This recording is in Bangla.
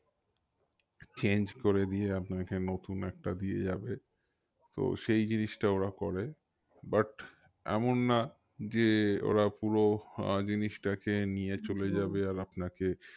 Change করে দিয়ে আপনাকে নতুন একটা দিয়ে যাবে তো সেই জিনিসটা ওরা করে but এমন না যে ওরা পুরো আহ জিনিসটাকে নিয়ে চলে যাবে আর আপনাকে